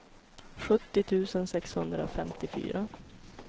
sjuttio tusen sexhundrafemtiofyra